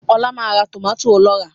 Ọlá máa ra tòmátì ọlọ́rà